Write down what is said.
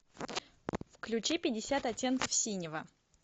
включи пятьдесят оттенков синего